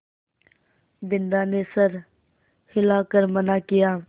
बिन्दा ने सर हिला कर मना किया